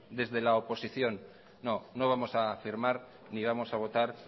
desde la oposición no no vamos a firmar ni vamos a votar